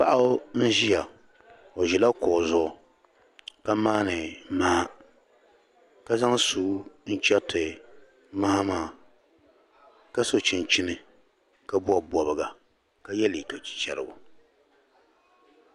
paɣa n-ʒia o ʒila kuɣu zuɣu ka maani maha ka zaŋ sua n-chɛriti maha maa ka so chinchini ka bɔbi bɔbiga ka ye liiga chichɛrigu